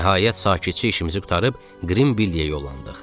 Nəhayət, sakitçi işimizi qurtarıb Qrində yolladıq.